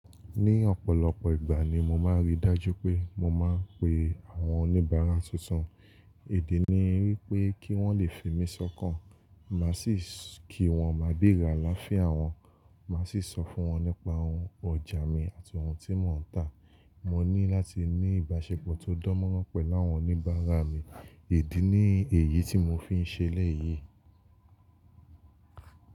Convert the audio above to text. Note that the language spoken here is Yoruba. Ní ọ̀pọ̀lọpọ̀ ìgbà ni mo máa ń rí dájú pé mo máa ń pe àwọn oníbàárà tuntun, idi ní wípé kí wọ́n le fimí sọ́kàn, màá sì kí wọ́n máa bere alafia wọn, màá sì sọ fún wọn nípa ohun ọjà mi àti ohun tí mò ń tà. Mo ní láti ní ìbáṣepọ̀ tó dánmọ́rán pẹ̀ láwọn oníbàárà mi, idi ni èyí tí mò fi ń ṣe lẹ́yì.